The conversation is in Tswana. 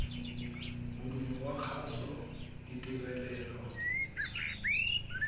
modumo wa kgaso ditirelo